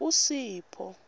usipho